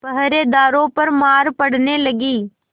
पहरेदारों पर मार पड़ने लगी